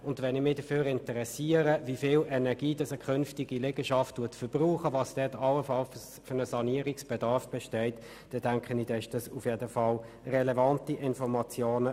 Wenn ich mich dafür interessiere, wie viel Energie eine künftige Liegenschaft verbraucht, welcher Sanierungsbedarf allenfalls besteht, enthält der Gebäudeenergieausweis auf jeden Fall relevante Informationen.